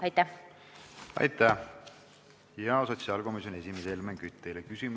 Aitäh, hea sotsiaalkomisjoni esimees Helmen Kütt!